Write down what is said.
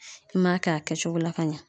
I m'a kɛ a kɛcogo la ka ɲa.